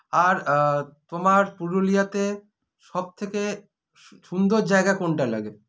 আর আ তোমার পুরুলিয়াতে সবথেকে সু সুন্দর জায়গা কোনটা লাগে